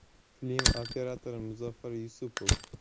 Film operatori Muzaffar Yusupov.